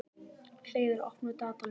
Hleiðar, opnaðu dagatalið mitt.